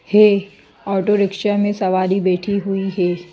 हे auto rickshaw में सवारी बैठी हुई है।